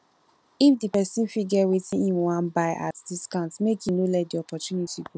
if di person fit get wetin im wan buy at discount make im no let the opportunity go